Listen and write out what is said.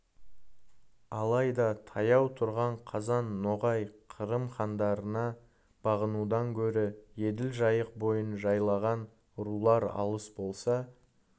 алайда таяу тұрған қазан ноғай қырым хандарына бағынудан гөрі еділ жайық бойын жайлаған рулар алыс болса